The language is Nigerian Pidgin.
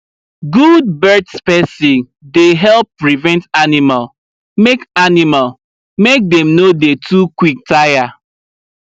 good birth spacing dey help prevent animal make animal make dem no dey too quick tire